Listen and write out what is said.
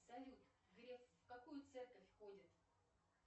салют греф в какую церковь ходит